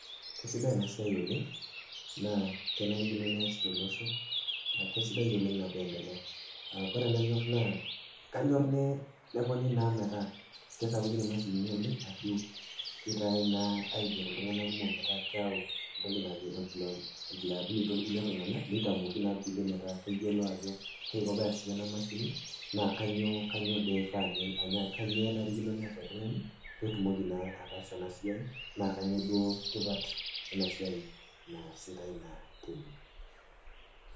Kesidai ena siai oleng, naa kenarikino teneasi tolosho kesidai oleng teneendelea, kore enanyor naa, kanyor naa teneponi metaa kesapukin imashinini metaa keitai naa aiger iltung'ana metaa keyau entoki najo employability tolkulie tung'ana metaa keyiolou ajo kai iko peasisho ena mashini kanyoo eifaa ashu kanyoo enarikino neas oltung'ani petumoki naa ataasa ena siai naa kanyoo tipat tena siai neasitai.